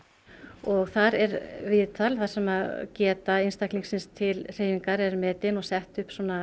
og þar er viðtal þar sem geta einstaklingsins til hreyfingar er metin og sett upp